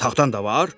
Taxtam da var?